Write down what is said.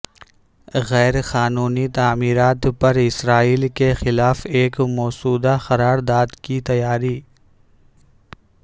غیر قانونی تعمیرات پر اسرائیل کے خلاف ایک مسودہ قرار داد کی تیاری